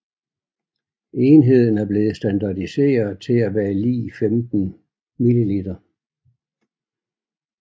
Enheden er blevet standardiseret til at være lig 15 mL